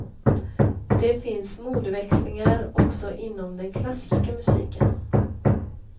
Det finns modeväxlingar också inom den klassiska musiken.